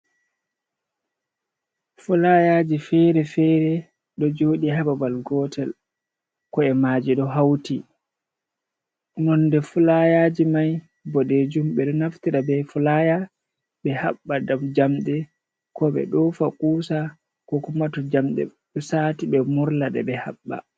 Fulayaji fere-fere ɗo joɗi ha babal gotel ko e maji ɗo hauti, nonde fulayaji mai bo ɓodejum , ɓe ɗo naftira be fulaya ɓe haɓɓa ɗam jamɗe ko ɓe ɗofa kusa, ko kuma to jamɗe usti ɓe murda ɓe haɓɓa.